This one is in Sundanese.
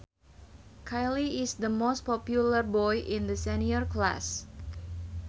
Kyle is the most popular boy in the senior class